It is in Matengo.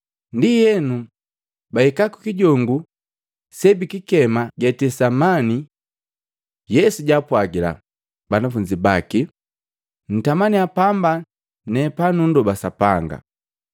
Ndienu, bahika kukijongu sebikikema Getisemani. Yesu jaapwagila banafunzi baki, “Ntamaniya pamba ne panundoba Sapanga.”